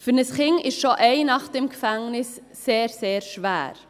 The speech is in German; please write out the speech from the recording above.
Für ein Kind ist schon eine Nacht im Gefängnis sehr schwer.